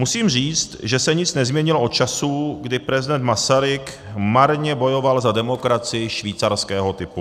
Musím říct, že se nic nezměnilo od časů, kdy prezident Masaryk marně bojoval za demokracii švýcarského typu.